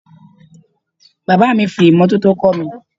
Bàbáà mi fi imọ́tótó kọ́ mi.